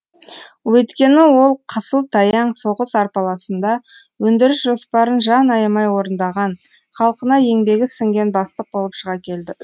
өйткені ол қысыл таяң соғыс арпалысында өндіріс жоспарын жан аямай орындаған халқына еңбегі сіңген бастық болып шыға келді